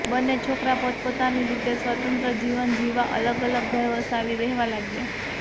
બન્ને છોકરા પોતપોતાની રીતે સ્વતંત્ર જીવન જીવવા અલગ અલગ ઘર વસાવી રહેવા લાગ્યા